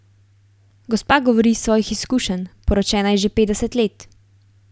Gospa govori iz svojih izkušenj, poročena je že petdeset let.